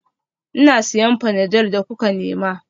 Ina siyan panadol da kuka nema